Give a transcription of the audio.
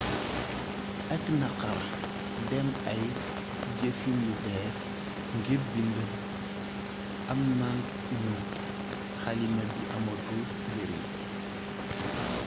ak naxxar ndém ay jeefin yu béés ngir bind amnagnu xalima bi amatul njarign